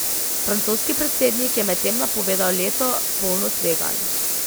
Francoski predsednik je medtem napovedal leto, polno tveganj.